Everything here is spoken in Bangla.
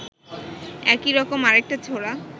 একই রকম আরেকটা ছোরা